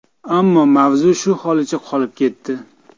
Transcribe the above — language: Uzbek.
Ammo mavzu shu holicha qolib ketdi.